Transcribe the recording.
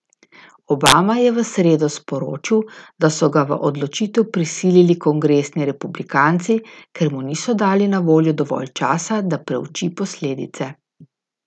Obama je v sredo sporočil, da so ga v odločitev prisilili kongresni republikanci, ker mu niso dali na voljo dovolj časa, da preuči posledice.